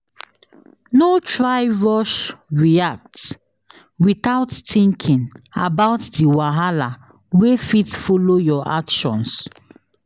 No try rush react without thinking about di wahala wey fit follow your actions